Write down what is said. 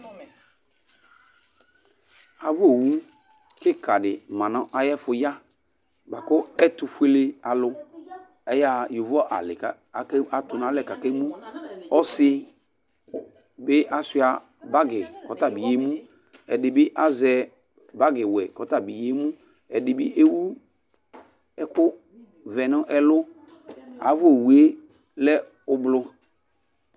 Ava owu kìka di ma nʋ ayʋ ɛfʋ ya bʋakʋ ɛtʋfʋele alu ayaha yovo alí kʋ atunalɛ kʋ akemʋ Ɔsi bi asʋia bagi kʋ ɔta bi yemu Ɛdí bi azɛ bagi wɛ kʋ ɔtabi yemu Ɛdí bi ewu ɛku vɛ nʋ ɛlu Ava owu ye lɛ ʋblu